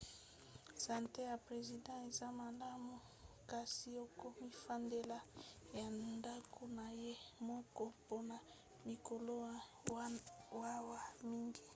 sante ya president eza malamu kasi akomifandela na ndako na ye moko mpona mikolo mawa mingi